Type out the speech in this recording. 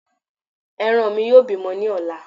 Ẹran mí yóò bímọ ní ọ̀la